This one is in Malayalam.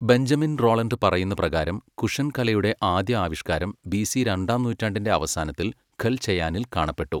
ബെഞ്ചമിൻ റോളണ്ട് പറയുന്നപ്രകാരം കുഷൻ കലയുടെ ആദ്യ ആവിഷ്കാരം ബിസി രണ്ടാം നൂറ്റാണ്ടിന്റെ അവസാനത്തിൽ ഖൽചയാനിൽ കാണപ്പെട്ടു.